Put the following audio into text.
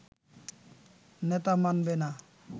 নেতা মানবে না